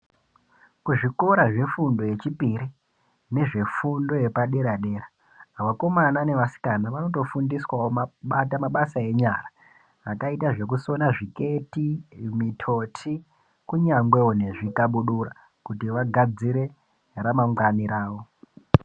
Kuzvikora zvefundo yechipiri nezve fundo yepadera dera vakomana nevasikana vanotofundiswawo mabata mabasa enyara akaita zvekusona zviketi mutoti kunyangewo nezvikabudura kuti vagadzire ramangwani rawo.